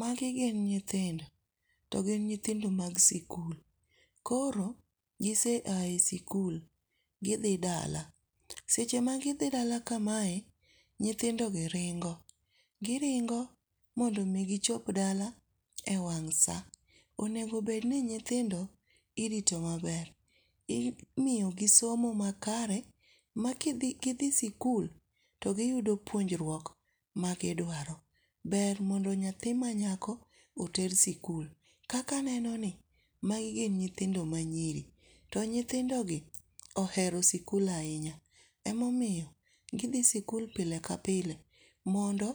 Magi gin nyithindo to gin nyithindo mag sikul. Koro gise a e sikul, gidhi dala. Seche magidhi dala kamae, nyithindogi ringo giringo mondo mi gichop dala ewang' saa onego bedni ni nyithindo irito maber. Imiyo gi somo makare makidhi gidhi sikul to giyudo puonjruok magiduaro. Ber mondo nyathi manyako oter sikul. Kaka aneno ni magi gin nyithindi ma nyiri. To nyithindogi ohero sikul ahinya emomiyo gidhi sikul pile ka pile mondo